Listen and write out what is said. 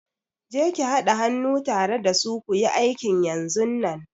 Je ki hada hannu tare da su kuyi aikin yanzunnan!